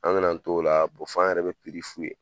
An bɛna t'o la f'an yɛrɛ bɛ piri f'u ye.